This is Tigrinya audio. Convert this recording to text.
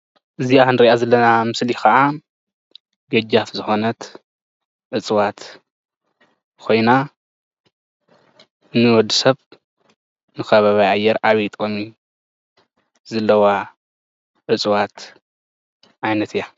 እዛ እንሪኣ ዘለና ምስሊ ከዓ ገጃፍ ዝኮነት እፅዋት ኮይና ንወዲ ሰብ ከባቢያዊ ኣየር ዓብይ ጥቅሚ ዘለዋ እፅዋት ዓይነት እያ፡፡